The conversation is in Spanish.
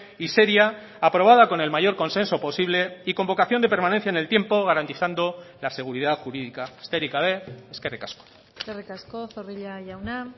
y seria aprobada con el mayor consenso posible y con vocación de permanencia en el tiempo garantizando la seguridad jurídica besterik gabe eskerrik asko eskerrik asko zorrilla jauna